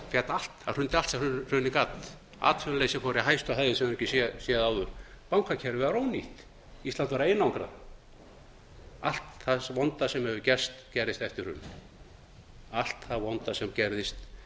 glæsilegt efnahagshrun það hrundi allt sem hrunið gat atvinnuleysi fór í hæstu hæðir sem við höfðum ekki séð áður bankakerfið var ónýtt ísland var einangrað allt það vonda sem